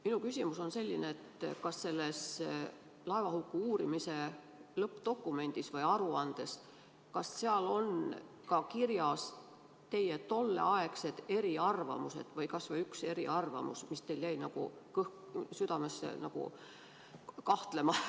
Minu küsimus on selline: kas selles laevahuku uurimise lõppdokumendis või aruandes on kirjas teie tolleaegsed eriarvamused või kas või üks eriarvamus, mis teil jäi südamesse kripeldama?